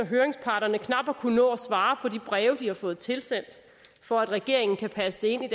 høringsparterne knap har kunnet nå at svare på de breve de har fået tilsendt for at regeringen kan passe det ind i